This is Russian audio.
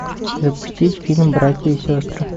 запустить фильм братья и сестры